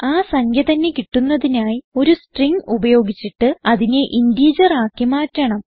ആ സംഖ്യ തന്നെ കിട്ടുന്നതിനായി ഒരു സ്ട്രിംഗ് ഉപയോഗിച്ചിട്ട് അതിനെ ഇന്റിജർ ആക്കി മാറ്റണം